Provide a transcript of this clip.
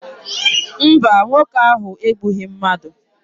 Mba, nwoke ahụ egbughị mmadụ.